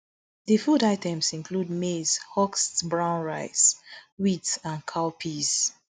di food items include maize husked brown rice wheat and cowpeas